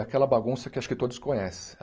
Aquela bagunça que acho que todos conhecem.